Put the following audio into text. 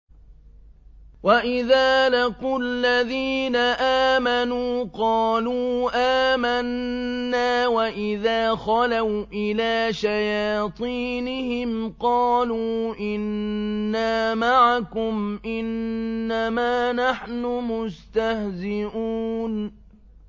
وَإِذَا لَقُوا الَّذِينَ آمَنُوا قَالُوا آمَنَّا وَإِذَا خَلَوْا إِلَىٰ شَيَاطِينِهِمْ قَالُوا إِنَّا مَعَكُمْ إِنَّمَا نَحْنُ مُسْتَهْزِئُونَ